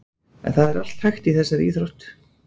En það er allt hægt í þessari íþrótt.